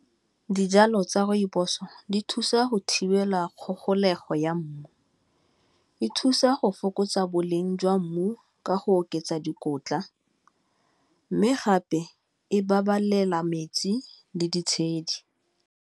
Dijalo tsa rooibos-o di thusa go thibela kgogolego ya mmu e thusa go fokotsa boleng jwa mmu ka go oketsa dikotla, mme gape e babalela metsi le ditshedi.